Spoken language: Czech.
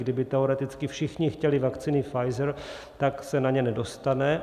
Kdyby teoreticky všichni chtěli vakcíny Pfizer, tak se na ně nedostane.